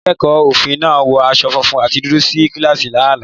Akẹ́kọ̀ọ́ òfin náà wọ aṣọ funfun àti dúdú sí kíláàsì ní àná.